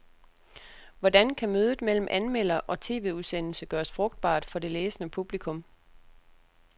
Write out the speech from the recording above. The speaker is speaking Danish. Hvordan kan mødet mellem anmelder og tv-udsendelse gøres frugtbart for det læsende publikum?